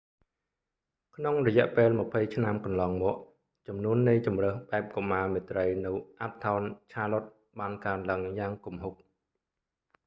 ក្នុងរយៈពេល 20 ឆ្នាំកន្លងមកចំនួននៃជម្រើសបែបកុមារមេត្រីនៅ uptown charlotte បានកើនឡើងយ៉ាងគំហុក